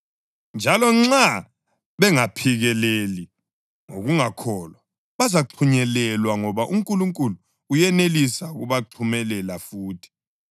Njalo nxa bengaphikeleli ngokungakholwa, bazaxhunyelelwa, ngoba uNkulunkulu uyenelisa ukubaxhumelela futhi.